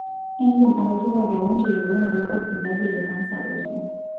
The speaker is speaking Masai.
Indim atoripo kewon teyiolounoto ilbulabul le kansa oolki.